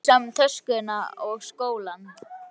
Iss, mér er alveg sama um töskuna og skólann